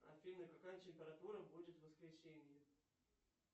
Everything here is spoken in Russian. афина какая температура будет в воскресенье